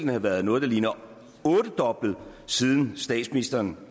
have været noget der ligner ottedoblet siden statsministeren